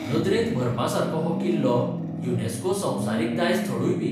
नदरेंत भरपासारको हो किल्लो युनेस्को संवसारीक दायज थळूयबी.